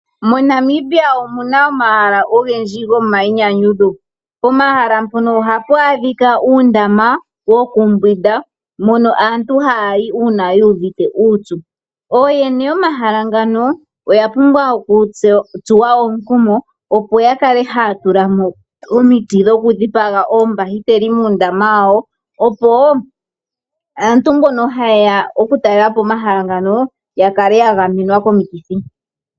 Mo Namibia omuna omahala ogendji gomayinyanyudho. Pomahala mpono ohapu adhika uundama woku mbwinda mono aantu hayi uuna yu uvite uupyu. Ooyene yomahala ngano oya pumbwa oku tsuwa omukumo opo ya kale haya tulamo omiti dhoku dhipaga oombahiteli muundama wawo opo aantu mbono ha yeya oku talelapo omahala ngano yakale ya gamenwa komikithi.